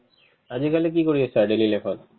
আজিকালি কি কৰি আছা daily life ত ?